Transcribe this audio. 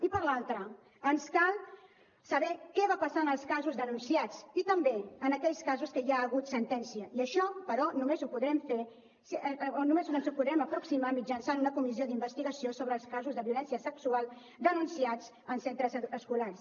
i per l’altra ens cal saber què va passar en els casos denunciats i també en aquells casos en què ja hi ha hagut sentència i a això només ens hi podrem aproximar mitjançant una comissió d’investigació sobre els casos de violència sexual denunciats en centres escolars